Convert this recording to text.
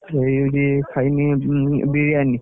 ଏଇଠି ଖାଇନି ବି~ବିରିୟାନି।